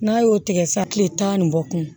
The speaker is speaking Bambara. N'a y'o tigɛ sa tile tan ni bɔ kun